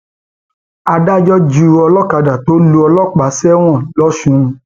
adájọ ju olókàdá tó lu ọlọpàá sẹwọn lọsùn